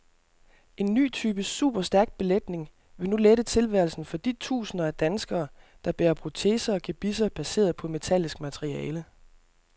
En ny type superstærk belægning vil nu lette tilværelsen for de tusinder af danskere, der bærer proteser og gebisser baseret på metallisk materiale.